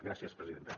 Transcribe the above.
gràcies presidenta